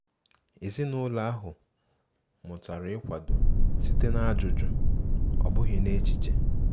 Ezinụlọ ahụ mụtara ịkwado site n'ajụjụ,ọ bụghị n'echiche.